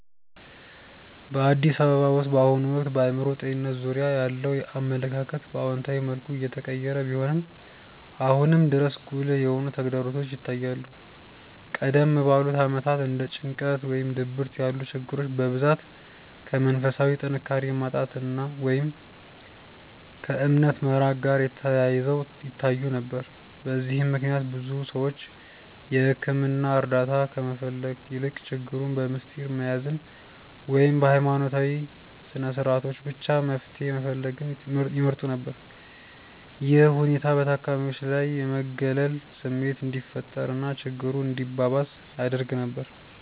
በአዲስ አበባ ውስጥ በአሁኑ ወቅት በአእምሮ ጤንነት ዙሪያ ያለው አመለካከት በአዎንታዊ መልኩ እየተቀየረ ቢሆንም፣ አሁንም ድረስ ጉልህ የሆኑ ተግዳሮቶች ይታያሉ። ቀደም ባሉት ዓመታት እንደ ጭንቀት ወይም ድብርት ያሉ ችግሮች በብዛት ከመንፈሳዊ ጥንካሬ ማጣት ወይም ከእምነት መራቅ ጋር ተያይዘው ይታዩ ነበር። በዚህም ምክንያት ብዙ ሰዎች የሕክምና እርዳታ ከመፈለግ ይልቅ ችግሩን በምስጢር መያዝን ወይም በሃይማኖታዊ ስነስርዓቶች ብቻ መፍትሄ መፈለግን ይመርጡ ነበር። ይህ ሁኔታ በታካሚዎች ላይ የመገለል ስሜት እንዲፈጠር እና ችግሩ እንዲባባስ ያደርግ ነበር።